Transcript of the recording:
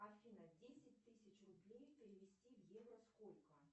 афина десять тысяч рублей перевести в евро сколько